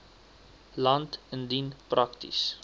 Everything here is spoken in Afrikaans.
land indien prakties